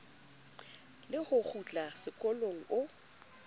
le ho kgutla sekolong o